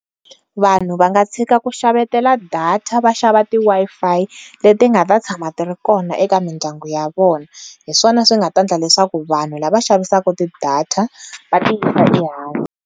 Vanhu va nga tshika ku xavetela data va xava ti Wi-Fi le ti nga ta tshama ti ri kona eka mindyangu ya vona hi swona swi nga ta endla leswaku vanhu lava xavisaka ti data va ti yisa ehansi.